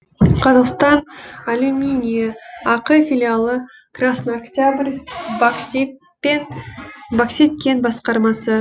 қазақстан алюминийі ақ филиалы краснооктябрь боксит кен басқармасы